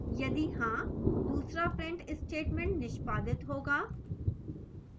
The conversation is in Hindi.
यदि हाँ दूसरा print statement निष्पादित होगा